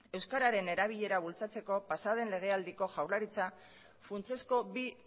euskararen erabilera bultzatzeko pasadan lege aldiko jaurlaritza funtsezko bi